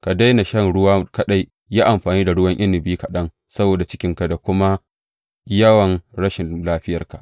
Ka daina shan ruwa kaɗai, yi amfani da ruwan inabi kaɗan saboda cikinka da kuma yawan rashin lafiyarka.